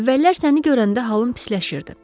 Əvvəllər səni görəndə halım pisləşirdi.